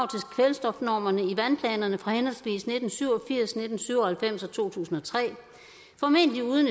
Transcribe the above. kvælstofnormer i vandplanerne fra henholdsvis nitten syv og firs nitten syv og halvfems og to tusind og tre formentlig uden